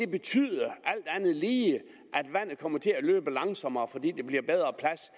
betyde at vandet kommer til at løbe langsommere fordi der bliver bedre plads